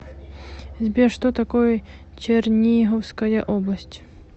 сбер что такое черниговская область